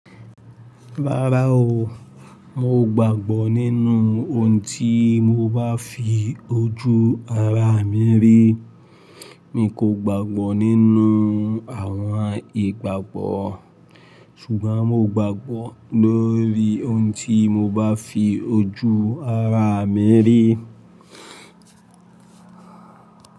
Rárá o, mo gbàgbọ́ nínú ohun tí mo bá fi ojú ara mi rí. Mi kò gbàgbọ́ nínú àwọn ìgbàgbọ́ ṣùgbọ́n mo gbàgbọ́ lórí ohun tí mo bá fi ojú ara mi rí.